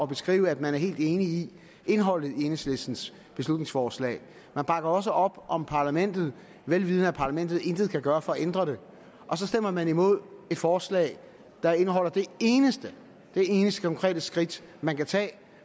beskrive at man er helt enig i indholdet af enhedslistens beslutningsforslag man bakker også op om parlamentet vel vidende at parlamentet intet kan gøre for at ændre det og så stemmer man imod et forslag der indeholder det eneste konkrete skridt man kan tage